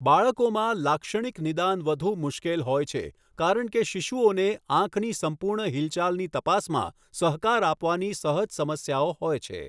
બાળકોમાં, લાક્ષણિક નિદાન વધુ મુશ્કેલ હોય છે કારણ કે શિશુઓને આંખની સંપૂર્ણ હિલચાલની તપાસમાં સહકાર આપવાની સહજ સમસ્યાઓ હોય છે.